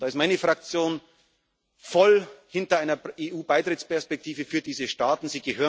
Balkan. Da steht meine Fraktion voll hinter einer EU Beitrittsperspektive für diese Staaten.